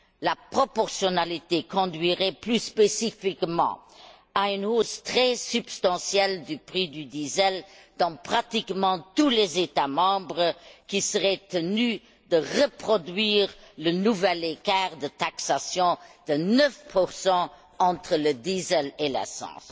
La proportionnalité conduirait plus spécifiquement à une hausse très substantielle du prix du diesel dans pratiquement tous les États membres qui seraient tenus de reproduire le nouvel écart de taxation de 9 entre le diesel et l'essence.